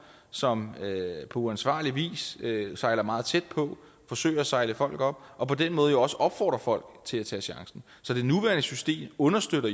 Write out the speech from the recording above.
som på uansvarlig vis sejler meget tæt på forsøger at sejle folk op og på den måde jo også opfordrer folk til at tage chancen så det nuværende system understøtter